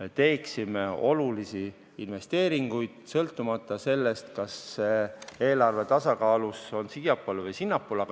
me teeksime olulisi investeeringuid, sõltumata sellest, kas eelarve tasakaal läheb siiapoole või sinnapoole.